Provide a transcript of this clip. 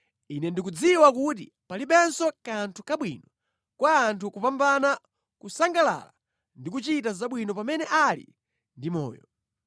Ine ndikudziwa kuti palibenso kanthu kabwino kwa anthu kopambana kusangalala ndi kuchita zabwino pamene ali ndi moyo.